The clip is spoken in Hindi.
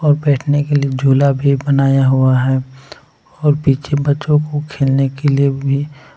और बैठने के लिए झूला भी बनाया हुआ है और पीछे बच्चों को खेलने के लिए भी --